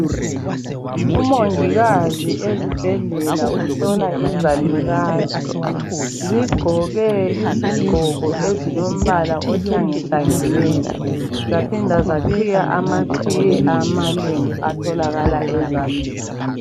Umongikazi ezibhedlela uhlola izalukazi , zigqoke isigqoko ezilombala ohlangahlangeneyo zaphinda zaqhiya amaqhiye amalembu atholakala e Zambia